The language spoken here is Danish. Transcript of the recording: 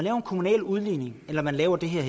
en kommunal udligning eller laver det her